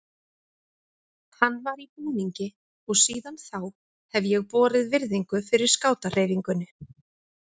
Hann var í búningi og síðan þá hef ég borið virðingu fyrir skátahreyfingunni.